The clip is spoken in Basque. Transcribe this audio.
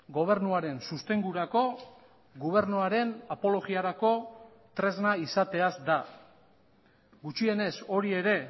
gobernuaren sostengurako gobernuaren apologiarako tresna izateaz da gutxienez hori ere